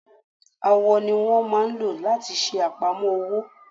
Awọ ni wọ́n lmáa ò láti ṣe àpamọ́ ọwọ́.